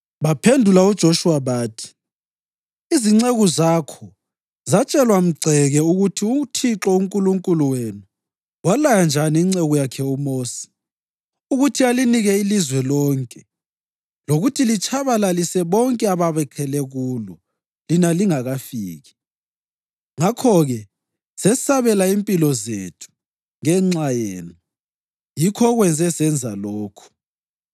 Baphendula uJoshuwa bathi, “Izinceku zakho zatshelwa mgceke ukuthi uThixo uNkulunkulu wenu walaya njani inceku yakhe uMosi ukuthi alinike ilizwe lonke lokuthi litshabalalise bonke ababakhele kulo lina lingakafiki. Ngakho-ke sesabela impilo zethu ngenxa yenu, yikho okwenze senza lokhu.